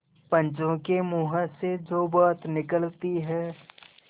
पंचों के मुँह से जो बात निकलती है